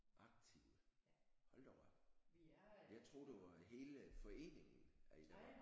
Aktive? Hold da op jeg troede det var i hele foreningen at I var